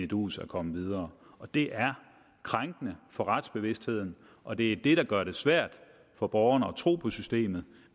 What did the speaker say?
duus er kommet videre det er krænkende for retsbevidstheden og det er det der gør det svært for borgerne at tro på systemet